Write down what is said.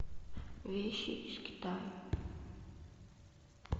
вещи из китая